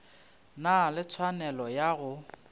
na le tshwanelo ya go